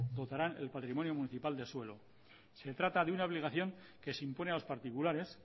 contarán el patrimonio municipal de suelo se trata de una obligación que se impone a los particulares